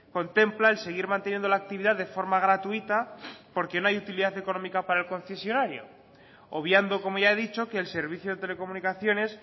contempla el seguir manteniendo la actividad de forma gratuita porque no hay utilidad económica para el concesionario obviando como ya he dicho que el servicio de telecomunicaciones